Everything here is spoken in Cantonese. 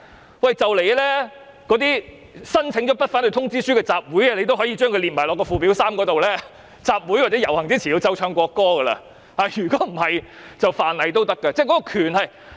說不定日後連已申請不反對通知書的集會也被列入附表3的場合，規定在集會或遊行前必須奏唱國歌，否則即屬犯例。